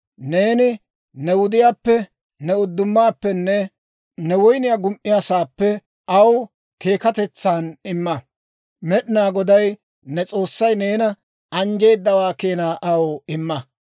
Neeni ne wudiyaappe, ne uddumaappenne ne woyniyaa gum"iyaasaappe aw keekatetsan imma; Med'inaa Goday ne S'oossay neena anjjeedawaa keenaa aw imma.